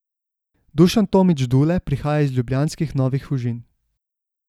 Dušan Tomić Dule prihaja z ljubljanskih Novih Fužin.